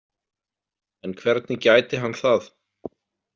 En hvernig gæti hann það?